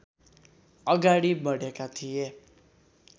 अगाडि बढेका थिए